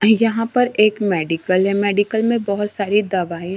यहां पर एक मेडिकल है मेडिकल में बहुत सारी दवाएं--